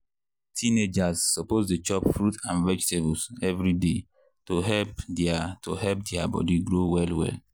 teenagers suppose dey chop fruit and vegetables every day to help their to help their body grow well well.